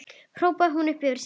hrópar hún upp yfir sig.